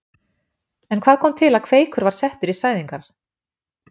En hvað kom til að Kveikur var settur í sæðingar?